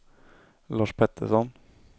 Lars Pettersson